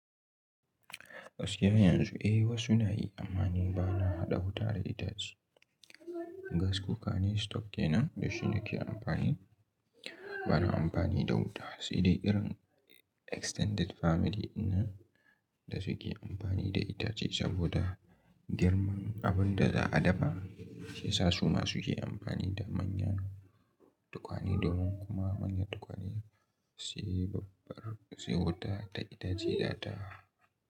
Gaskiya yanzu eh wasu na yi amani ba na haɗa wuta da itace. Gas cooker ne stock kenan da shi na ke amfani. Ba na amfani da wuta. Sai dai irin extended family ɗin nan da suke amfani da itace saboda girman abin da za'a dafa shiyasa su ma suke amfani da manyan tukwane domin kuma manyan tukwane su yi babbar, su yi wuta da itace ya ta.